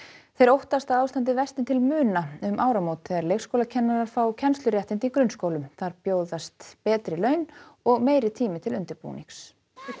þeir óttast að ástandið versni til muna um áramót þegar leikskólakennarar fá kennsluréttindi í grunnskólum þar bjóðist betri laun og meiri tími til undirbúnings